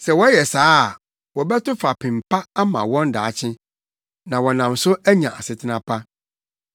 Sɛ wɔyɛ saa a, wɔbɛto fapem pa ama wɔn daakye. Na wɔnam so anya asetena pa.